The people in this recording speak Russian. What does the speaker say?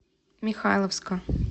михайловска